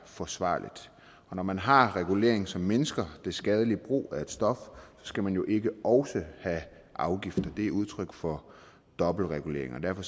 forsvarligt og når man har regulering som mindsker det skadelige brug af et stof skal man jo ikke også have afgifter det er udtryk for dobbeltregulering derfor